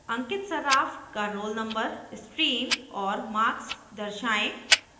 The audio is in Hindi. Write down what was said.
अंकित सर्राफ का roll नंबर stream और marks दर्शाएं